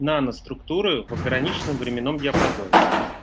наноструктуры в ограниченном временном диапазоне